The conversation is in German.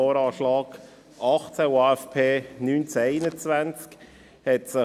Wir kommen zur Planungserklärung 2a.a, FiKo-Mehrheit und FDP, Haas.